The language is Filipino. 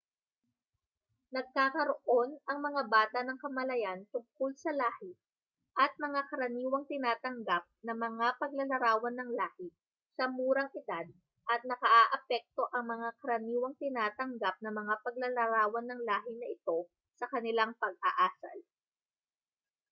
nagkakaroon ang mga bata ng kamalayan tungkol sa lahi at mga karaniwang tinatanggap na mga paglalarawan ng lahi sa murang edad at nakaaapekto ang mga karaniwang tinatanggap na mga paglalarawan ng lahi na ito sa kanilang pag-aasal